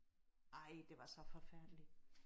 Ej det var så forfærdeligt